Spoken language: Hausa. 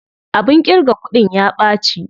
Abin ƙirga kuɗin ya ɓaci.